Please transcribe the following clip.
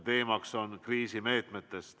Teemaks on kriisimeetmed.